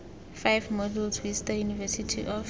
five modules vista university of